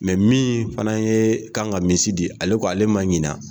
Mɛ min fana ye kan ka misi di ale ko ale ma ɲinan